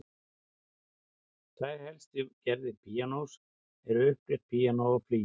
Tvær helstu gerðir píanós eru upprétt píanó og flygill.